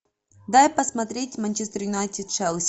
дай посмотреть манчестер юнайтед челси